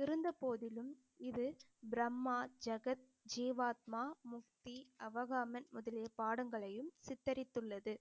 இருந்த போதிலும் இது பிரம்மா, ஜகத், ஜீவாத்மா, முக்தி, அவகாமன் முதலிய பாடங்களையும் சித்தரித்துள்ளது